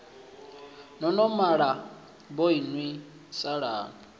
no no malana vhoinwi salani